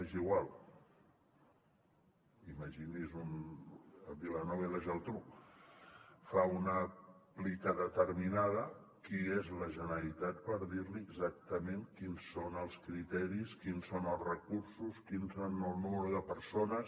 és igual imagini se’n un vilanova i la geltrú fa una plica determinada qui és la generalitat per dir li exactament quins són els criteris quins són els recursos quin és el nombre de persones